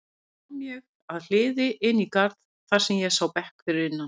Loks kom ég að hliði inn í garð þar sem ég sá bekk fyrir innan.